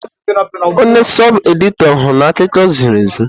Onye sọb-edịtọr hụrụ n'akụkọ ziri ezi.